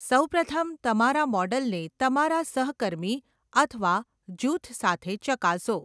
સૌપ્રથમ, તમારા મૉડલને તમારા સહકર્મી અથવા જૂથ સાથે ચકાસો.